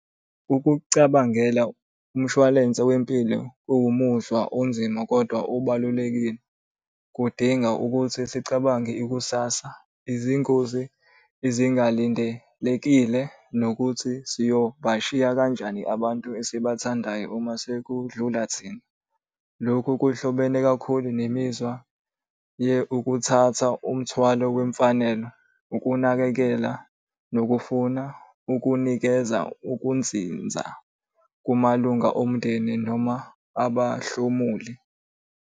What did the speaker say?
Ukucabangela umshwalense wempilo owumuzwa onzima, kodwa obalulekile, kudinga ukuthi sicabange ikusasa, izingozi ezingalindelekile, nokuthi siyobashiya kanjani abantu esibathandayo uma sekudlula thina. Lokhu kuhlobene kakhulu nemizwa ukuthatha umthwalo wemfanelo, ukunakekela nokufuna ukunikeza ukunzinza kumalunga omndeni noma abahlomuli.